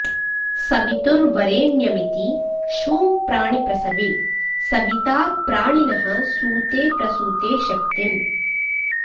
सवितुर्वरेण्यमिति षूङ् प्राणिप्रसवे सविता प्राणिनः सूते प्रसूते शक्तिम्